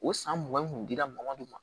O san mugan in kun dira mɔgɔninw ma